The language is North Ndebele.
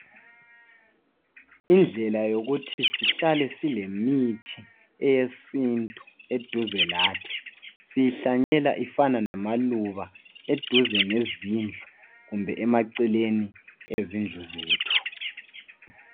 Indlela yokuthi sihlale silemithi yesintu eduze lathi siyihlanyela ifana lamaluba eduze lezindlu kumbe emaceleni ezindlu zethu.